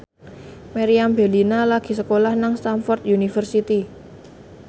Meriam Bellina lagi sekolah nang Stamford University